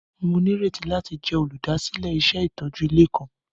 Mo nírètí láti jẹ olúdásílẹ̀ iṣẹ itójú ilé kan.